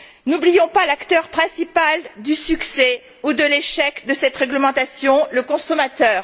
N'oublions pas l'acteur principal du succès ou de l'échec de cette réglementation le consommateur.